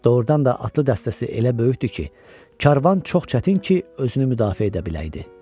Doğrudan da atlı dəstəsi elə böyükdür ki, karvan çox çətin ki, özünü müdafiə edə biləydi.